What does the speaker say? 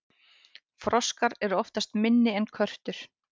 froskar eru oftast minni en körtur